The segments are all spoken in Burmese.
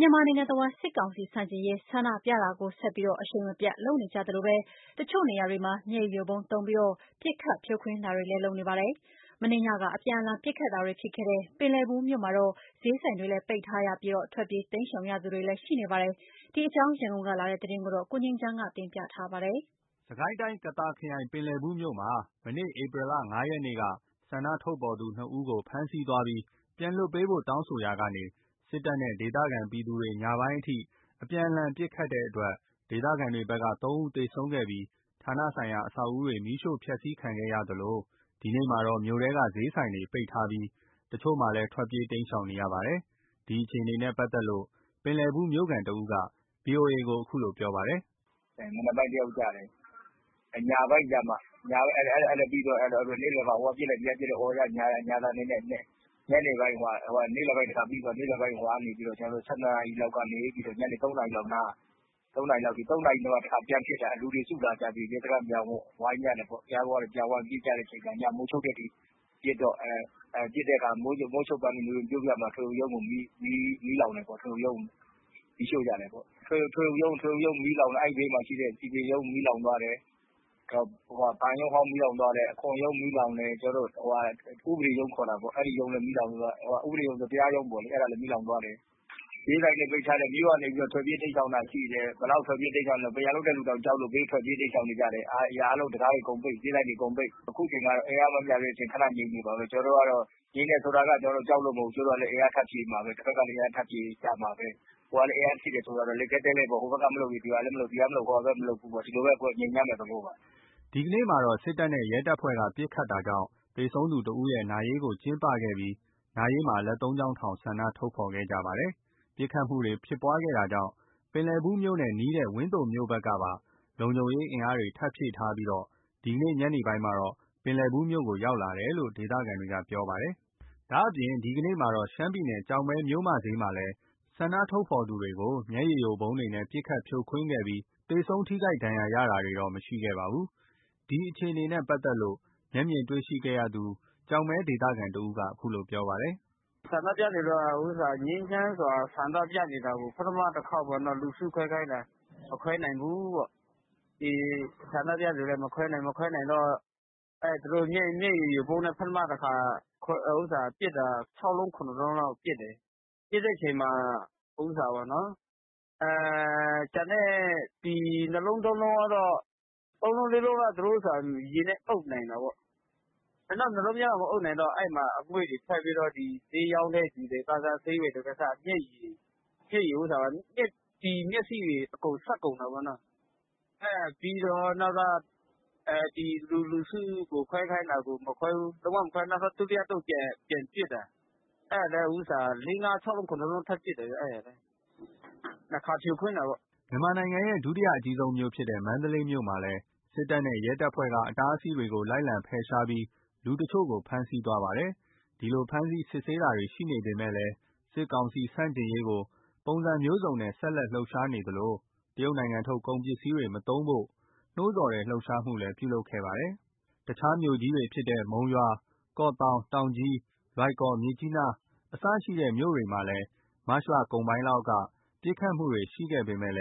မြန်မာနိုင်ငံတဝှမ်း စစ်ကောင်စီဆန့်ကျင်ရေး ဆန္ဒပြတာတွေကို ဆက်ပြီး အရှိန်မပြတ် ပြုလုပ်နေကြသလို တချို့နေရာတွေမှာ မျက်ရည်ယိုဗုံးသုံးပြီး ပစ်ခတ်ဖြိုခွင်းတာတွေ လုပ်နေသလို မနေ့ည အပြန်အလှန် ပစ်ခတ်တာတွေ ဖြစ်ခဲ့တဲ့ ပင်လယ်ဘူး မြို့မှာတော့ ဈေးဆိုင်တွေလည်း ပိတ်ထားပြီး ထွက်ပြေး တိမ်းရှောင်ရသူတွေလည်း ရှိပါတယ်။ ဒီအကြောင်း ရန်ကုန်ကလာတဲ့သတင်းကိုတော့ ကိုငြိမ်းချမ်းက တင်ပြပေးပါမယ်။ စစ်ကိုင်းတိုင်း ကသာခရိုင် ပင်လယ်ဘူးမြို့မှာ မနေ့ ဧပြီ ၅ ရက်က ဆန္ဒထုတ်ဖော်သူ နှစ် ဦးကို ဖမ်းဆီးသွားပြီး ပြန်လွှတ်ပေးဖို့ တောင်းဆိုရာကနေ စစ်တပ်နဲ့ ဒေသခံပြည်သူတွေ ညပိုင်းအထိ အပြန်အလှန်ပစ်ခတ်လို့ ဒေသခံတွေဘက်က သုံး ဦးသေဆုံးခဲ့ပြီး ဌာနဆိုင်ရာ အဆောက်အဦးတွေ မီးရှို့ဖျက်ဆီးခံခဲ့ရသလို ဒီနေ့မှာတော့ မြို့ထဲက ဈေးဆိုင်တွေ ပိတ်ထားပြီး တချို့မှာလည်း ထွက်ပြေး တိမ်းရှောင်နေရပါတယ်။ ဒီအခြေအနေနဲ့ ပတ်သက်လို့ ပင်လယ်ဘူး မြို့ခံတဦးက ဗွီအိုအေကို အခုလိုပြောပါတယ်။ “မနက်ပိုင်း ၁ ယောက်ကျတယ်။ အဲ့ဒါပြီးသွားတော့ ဟိုကပစ်လိုက်ဒီကပစ်လိုက် ညာသံတွေနဲ့ နေ့လည်ပိုင်း တခါပြီးသွားတယ်။ နေ့လယ်ပိုင်း ၁၂ နာရီလောက်ကနေ ညနေ ၃ နာရီလောက်အထိနား ၃ နာရီလောက်ကနေ ပြန်ပစ်တာ လူတွေစုလာကြပြီး ရဲစခန်းကို ဝိုင်းကြနဲ့ပေါ့။ ဝိုင်းပြီး ညမိုးချုပ်တဲ့အထိ ပစ်တော့ မိုးချုပ်ပိုင်းမှာ ထွေအုပ် ရုံးမီးလောင်တယ်ပေါ့။ ထွေအုပ်ရုံး မီးလောင်သွားတယ် အဲ့ဒီဘေးမှာရှိတဲ့ စည်ပင်ရုံးမီးလောင်သွားတယ်။ ဘဏ်ရုံးအဟောင်းမီးလောင်သွားတယ်။ အခွန်ရုံးမီးလောင်တယ်။ ဥပဒေရုံး၊ တရားရုံးမီးလောင်သွားတယ်။ ဈေးဆိုင်တွေပိတ်ထားတယ်။ မြို့ကနေ ထွက်ပြေးတိမ်းရှောင်တာရှိတယ်။ ဘယ်လောက်တောင်ထွက်ပြေးလည်း ဆိုရင် ပန်းရံလုပ်တဲ့သူတောင် ကြောက်လို့ ထွက်ပြေးနေတယ်။ အရာအားလုံး အကုန်ပိတ် ဈေးဆိုင်တွေအကုန်ပိတ်။ အခုချိန်ကတော့ အင်အားမမျှသေးတော့ ငြိမ်နေအုံးမှာပဲ။ ငြိမ်တယ်ဆိုတာက ကျနော်တို့က ကြောက်လို့မဟုတ်ဘူး။ အင်အားထပ်ဖြည့်နေမှာပဲ တဘက်ကလည်း အင်အားထပ်ဖြည့်ကြမှာပဲ။ အင်အားထပ်ဖြည့်တယ်ဆိုတာ လိပ်ခဲတည်းလည်းပေါ့။ ဟိုဘက်က မလှုပ်ရင် ဒီဘက်ကလည်း မလှုပ်ဘူး။ ဒီလိုပဲ ငြိမ်သွားမယ့် သဘောပါ။" ဒီကနေ့မှာတော့ စစ်တပ်နဲ့ရဲတပ်ဖွဲ့က ပစ်ခတ်တာကြောင့် သေဆုံးသူ ၁ ဦးရဲ့ နာရေးကို ကျင်းပခဲ့ပြီး နာရေးမှာ လက် ၃ ချောင်းထောင်ပြီး ဆန္ဒထုတ်ဖော်ခဲ့ကြသေးပါတယ်။ ပစ်ခတ်မှုတွေ ဖြစ်ပွားခဲ့တာကြောင့် ပင်လယ်ဘူးမြို့နဲ့ နီးတဲ့ ဝန်းသိုမြို့ဘက်ကပါ လုံခြုံရေး အင်အား ထပ်ဖြည့်ထားပြီး ဒီကနေ့ ညနေပိုင်းမှာ ပင်လယ်ဘူးမြို့ကို ရောက်ရှိလာတယ်လို့ ဒေသခံတွေကပြောပါတယ်။ ဒါ့အပြင် ဒီကနေ့မှာတော့ ရှမ်းပြည်နယ် ကျောက်မဲမြို့ မြို့မဈေးရှေ့မှာလည်း ဆန္ဒထုတ်ဖော်သူတွေကို မျက်ရည်ယိုဗုံးတွေနဲ့ ပစ်ခတ်ဖြိုခွင်းခဲ့ပြီး သေဆုံးထိခိုက်ဒဏ်ရာရတာတော့ မရှိခဲ့ပါဘူး။ ဒီအခြေအနေနဲ့ ပတ်သက်လို့ မျက်မြင်တွေ့ရှိသူ ကျောက်မဲဒေသခံတဦးက အခုလိုပြောပါတယ်။ “ငြိမ်းချမ်းစွာ ဆန္ဒပြနေတာကို ပထမ ၁ ခေါက်ပေါ့နော် လူစုခွဲခိုင်းတယ် မခွဲနိုင်ဘူးပေါ့။ ဆန္ဒပြသူတွေက မခွဲနိုင်တော့ သူတို့က မျက်ရည်ယိုဗုံးနဲ့ ပထတခါ ၆ လုံး၊ ၇ လုံးလောက်ပစ်တယ်။ ပစ်တဲ့အခါ ၃ လုံး၊ ၄ လုံးက ရေနဲ့ အုပ်နိုင်တယ်။ နောက်အလုံးတွေကျတော့ မအုပ်နိုင်တော့ ဈေးရောင်းတဲ့သူတွေ ဈေးဝယ်တွေက အစ မျက်ရည်ယိုဗုံးနဲ့ မျက်စိတွေအကုန်စပ်ကုန်တာပေါ့။ အဲ့ဒါပြီးတော့ လူစုကို ခွဲခိုင်းတာကို လုံးဝမခွဲဘူး နောက်တော့ ဒုတိယအသုတ်ပြန်ပစ်တယ်။ ၄၊ ၅၊ ၆ လုံး၊ ၇ လုံးထပ်ပစ်တယ်။ ၂ ခါဖြိုခွင်းတာပေါ့။” မြန်မာနိုင်ငံရဲ့ ဒုတိယအကြီးဆုံးမြို့ဖြစ်တဲ့ မန္တလေးမြို့မှာလည်း စစ်တပ်နဲ့ရဲတပ်ဖွဲ့က အတားအဆီးတွေကို လိုက်လံဖယ်ရှားပြီး လူတချို့ကို ဖမ်းဆီးသွားပါတယ်။ ဒီလို ဖမ်ဆီး စစ်ဆေးတာတွေရှိနေပေမယ့် စစ်ကောင်စီ ဆန့်ကျင်ရေးကို ပုံစံမျိုးစုံနဲ့ ဆက်လက်လှုပ်ရှားနေသလို တရုတ်နိုင်ငံထုတ် ကုန်ပစ္စည်းတွေ မသုံးဖို့ နှိုးဆော်တဲ့ လှုပ်ရှားမှုလည်း ပြုလုပ်ခဲ့ပါသေးတယ်။ တခြားမြို့ကြီးတွေဖြစ်တဲ့ မုံရွာ၊ ကော့သောင်း၊ တောင်ကြီး၊ လွိုင်ကော်၊ မြစ်ကြီးနား အစရှိတဲ့ မြို့တွေမှာလည်း မတ်လကုန်ပိုင်းလောက်က ပစ်ခတ်မှုတွေရှိခဲ့ပေမဲ့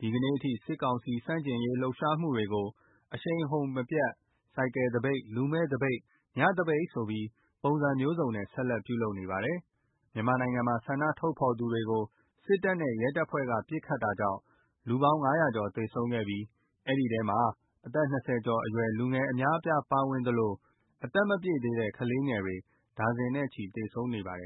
ဒီကနေ့ထိ စစ်ကောင်စီဆန့်ကျင်ရေး လှုပ်ရှားမှုတွေကို အရှိန်အဟုန်မပျက် ဆိုင်ကယ်သပိတ်၊ လူမဲ့ သပိတ်၊ ညသပိတ် ဆိုပြီး ပုစံမျိုးစုံနဲ့ ဆက်လက် ပြုလုပ်နေပါတယ်။ မြန်မာနိုင်ငံမှာ ဆန္ဒထုတ်ဖော်သူတွေကို စစ်တပ်နဲ့ ရဲတပ်ဖွဲ့က ပစ်ခတ်တာကြောင့် လူပေါင်း ၅၀၀ ကျော်သေဆုံးခဲ့ပြီး အဲဒီထဲမှာ အသက် ၂၀ ကျော် အရွယ် လူငယ် အများအပြားပါဝင်သလို အသက်မပြည့်သေးတဲ့ ကလေးငယ်တွေ ဒါဇင်နဲ့ချီ သေဆုံးနေပါတယ်